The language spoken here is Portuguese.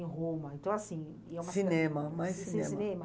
Em Roma, então assim... ia a cinema, cinema, mais cinema.